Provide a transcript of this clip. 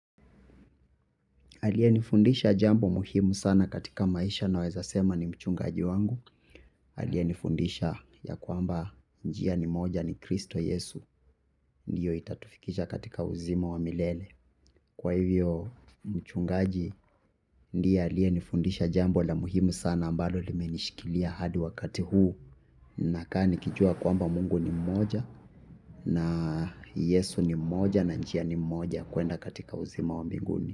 Aliyenifundisha jambo muhimu sana katika maisha naweza sema ni mchungaji wangu. Aliyenifundisha ya kwamba njia ni moja ni kristo yesu. Ndiyo itatufikisha katika uzima wa milele. Kwa hivyo mchungaji ndiye aliyenifundisha jambo la muhimu sana ambalo limenishikilia hadi wakati huu. Nakaa nikijua kwamba mungu ni mmoja na yesu ni mmoja na njia ni moja kwenda katika uzima wa mbinguni.